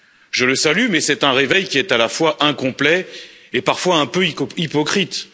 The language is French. Je le salue, mais c'est un réveil qui est à la fois incomplet et parfois un peu hypocrite.